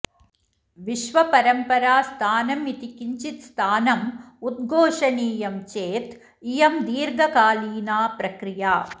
विश्वपरम्परास्थानमिति किञ्चित् स्थानम् उद्घोषणीयं चेत् इयं दीर्घकालीना प्रक्रिया